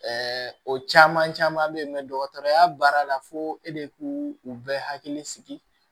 o caman bɛ yen dɔgɔtɔrɔya baara la fo e de k'u u bɛɛ hakili sigi